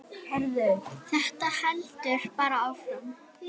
Ég fann til tómleika og sá ekkert framundan sem vakti mér eftirvæntingu eða áhuga.